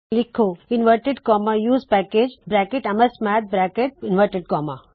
ਲਿੱਖੋ usepackageamsmath ਇਸ file ਨੂੰ save ਕਰੋ